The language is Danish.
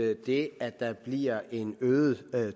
at det at der bliver en øget